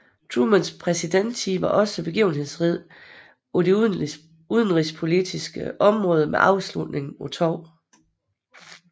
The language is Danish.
Trumans præsidenttid var også begivenhedsrig på det udenrigspolitiske område med afslutningen på 2